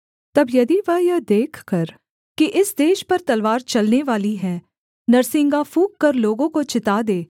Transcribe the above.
तब यदि वह यह देखकर कि इस देश पर तलवार चलने वाली है नरसिंगा फूँककर लोगों को चिता दे